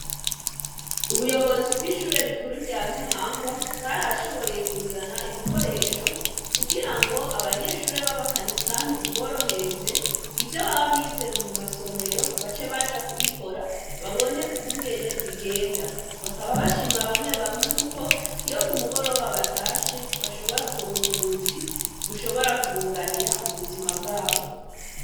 Ubuyobozi bw'ishure rikuru rya ntahangwa bwarashoboye kuzana ibikoresho kugira ngo abanyeshure babakanisa biboronkereze ivyo bababize mu masomero bace baja kubikore babone ukugene bigenda, bakaba bashima bamwebamwe kuko iyo kumugoroba batashe bashobora kuronka ubuzi bushobora kubuganira mubuzima bwabo.